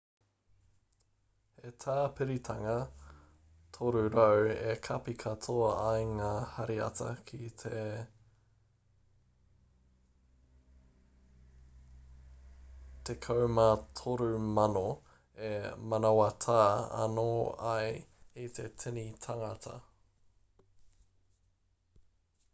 he tāpiritanga 300 e kapi katoa ai ngā hariata ki te 1,3000 e manawatā anō ai i te tini tāngata